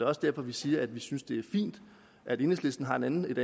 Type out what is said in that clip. også derfor vi siger at vi synes det fint at enhedslisten har et andet